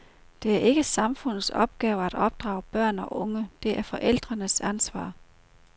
Det er ikke samfundets opgave at opdrage børn og unge, det er forældrenes ansvar.